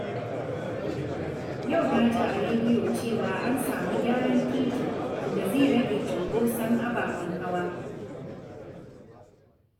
Yau na ji a rediyo cewa an samu gyaran titi, wanda zai rage cunkoson ababen hawa.